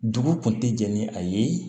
Dugu kun ti jɛn ni a ye